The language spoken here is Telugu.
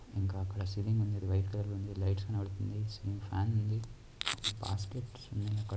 ఇంకాఅక్కడ సీలింగ్ ఉంది వైట్లై కలర్ వేసింది లైట్స్ కనపడుతున్నాయి ఫ్యాన్ ఉంది ---